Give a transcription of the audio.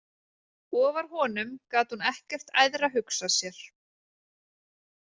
Ofar honum gat hún ekkert æðra hugsað sér.